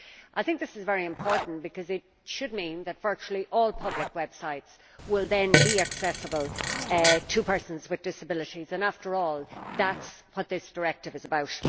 I think this is very important because it should mean that virtually all public websites will then be accessible to persons with disabilities, and after all that is what this directive is about.